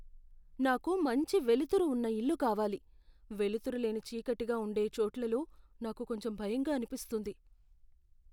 "నాకు మంచి వెలుతురు ఉన్న ఇల్లు కావాలి, వెలుతురు లేని చీకటిగా ఉండే చోట్లలో నాకు కొంచెం భయంగా అనిపిస్తుంది."